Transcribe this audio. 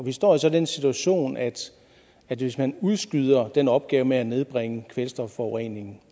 vi står altså i den situation at at hvis man udskyder den opgave med at nedbringe kvælstofforureningen